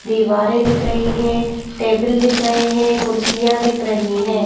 दीवारें दिख रही हैं टेबल दिख रहे हैं कुर्सियां दिख रही हैं।